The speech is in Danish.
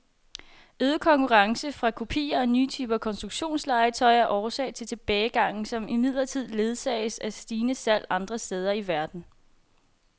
Øget konkurrence fra kopier og nye typer konstruktionslegetøj er årsag til tilbagegangen, som imidlertid ledsages af stigende salg andre steder i verden.